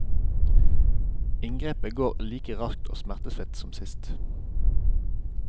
Inngrepet går like raskt og smertefritt som sist.